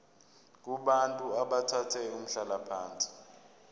kubantu abathathe umhlalaphansi